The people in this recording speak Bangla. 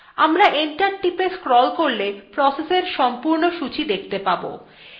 আমরা enter টিপে scroll করলে pressএর সম্পূর্ণ সূচী দেখতে পারব